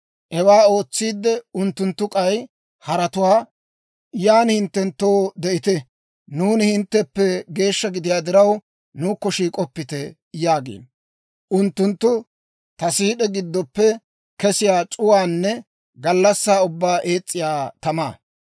Hewaa ootsiidde, unttunttu k'ay haratuwaa, ‹Yan hinttenttoo de'ite; nuuni hintteppe geeshsha gidiyaa diraw, nuukko shiik'oppite!› yaagiino. Unttunttu ta siid'e giddoppe kesiyaa c'uwaanne gallassaa ubbaa ees's'iyaa tamaa.